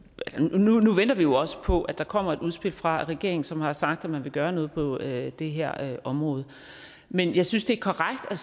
nu venter vi jo også på at der kommer et udspil fra regeringen som har sagt at man vil gøre noget på det det her område men jeg synes det er korrekt at